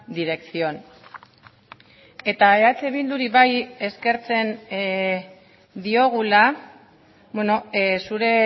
dirección eta eh bilduri bai eskertzen diogula zure